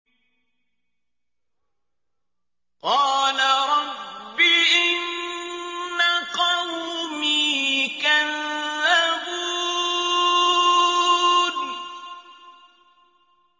قَالَ رَبِّ إِنَّ قَوْمِي كَذَّبُونِ